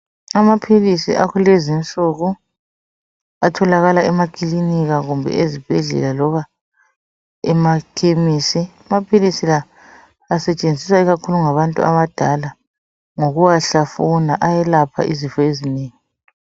Amaphilisi akulezi insuku atholakala emakilinika kumbe ezibhedlela loba emakhemisi, amaphilisi la asetshenziswa ikakhulu ngabantu abadala ngokuwahlafuna ayelapha izifo ezinengi.